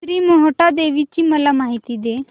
श्री मोहटादेवी ची मला माहिती दे